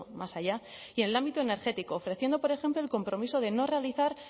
más allá y en el ámbito energético ofreciendo por ejemplo el compromiso de no realizar